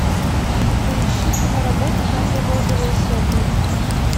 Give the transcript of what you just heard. поищи киноработу жанра розовые сопли